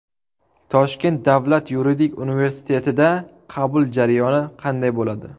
Toshkent davlat yuridik universitetida qabul jarayoni qanday bo‘ladi?.